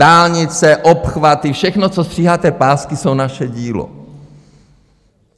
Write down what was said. Dálnice, obchvaty, všechno, co stříháte pásky, je naše dílo.